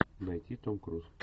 найти том круз